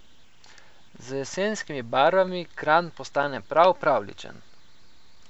Z jesenskimi barvami Kranj postane prav pravljičen!